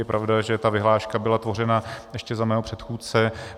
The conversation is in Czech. Je pravda, že ta vyhláška byla tvořena ještě za mého předchůdce.